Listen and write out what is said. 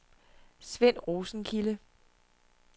Svend Rosenkilde